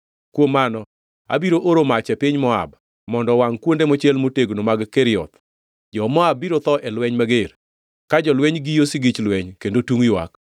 kuom mano abiro oro mach e piny Moab mondo owangʼ kuonde mochiel motegno mag Kerioth. Jo-Moab biro tho ei lweny mager, ka jolweny giyo sigich lweny kendo tungʼ ywak.